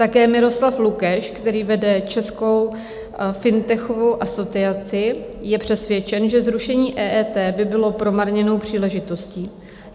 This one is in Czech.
Také Miroslav Lukeš, který vede Českou fintechovou asociaci, je přesvědčen, že zrušení EET by bylo promarněnou příležitostí.